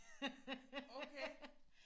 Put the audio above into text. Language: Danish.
Okay!